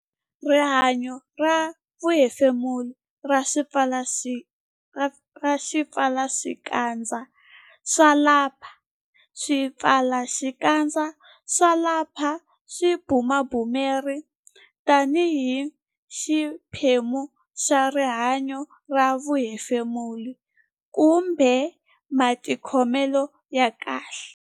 Rihanyo ra vuhefemuri ra swipfalaxikandza swa lapi Swipfalaxikandza swa lapi swi bumabumeriwa tanihi xiphemu xa rihanyo ra vuhefemuri kumbe matikhomelo ya kahle.